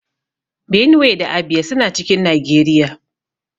Benue da Abia suna cikin Nageriya